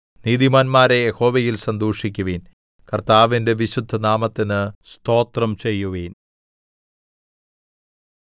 നീതിമാന്മാരേ യഹോവയിൽ സന്തോഷിക്കുവിൻ കർത്താവിന്റെ വിശുദ്ധനാമത്തിന് സ്തോത്രം ചെയ്യുവിൻ